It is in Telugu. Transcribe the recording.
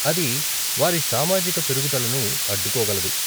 అది వారి సామాజిక పెరుగుదలను అడ్డుకోగలదు.